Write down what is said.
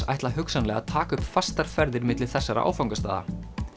ætla hugsanlega að taka upp fastar ferðir milli þessara áfangastaða